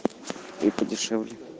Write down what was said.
и подешевле